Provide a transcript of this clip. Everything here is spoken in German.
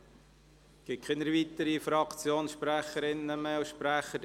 Es gibt keine weiteren Fraktionssprecherinnen und Fraktionssprecher.